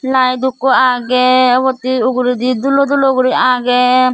layet ekko agey ubot he uguredi dulo dulo guri agey.